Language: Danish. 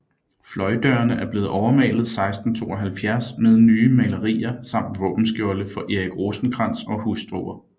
Fløjdørene er blevet overmalet 1672 med nye malerier samt våbenskjolde for Erik Rosenkrantz og hustruer